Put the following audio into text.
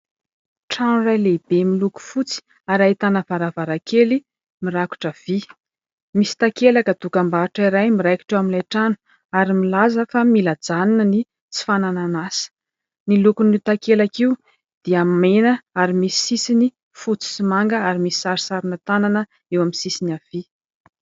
Trano iray lehibe miloko fotsy ary ahitana varavarakely mirakotra via misy takelaka tokambahotra iray miraikitra eo amin'ilay trano ary milaza fa mila hajanina ny tsy fananana asa, ny lokon'io takelaka io dia mena ary misy sisiny fotsy sy manga ary misy sarisarina tanana eo amin'ny sisiny havia.